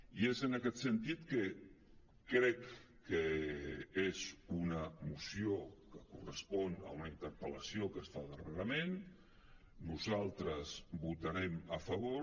i és en aquest sentit que crec que és una moció que correspon a una interpel·lació que es fa darrerament nosaltres hi votarem a favor